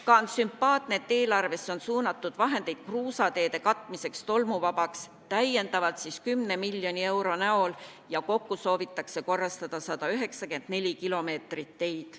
Ka on sümpaatne, et eelarvesse on suunatud vahendeid kruusateede katmiseks, täiendavalt siis 10 miljoni eurot ja kokku soovitakse korrastada 194 kilomeetrit teid.